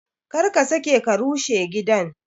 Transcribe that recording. Kar ka sake ka rushe gidan!